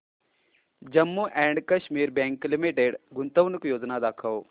Jammu and Kashmir bank limited गुंतवणूक योजना दाखव